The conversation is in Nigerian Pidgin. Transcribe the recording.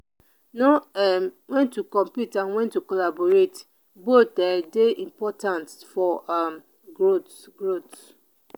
know um when to compete and when to collaborate both um dey important for um growth. growth.